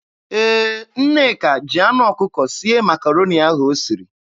Ee, Nneka jiri anụ ọkụkọ sie Makaroni ahụ o siri.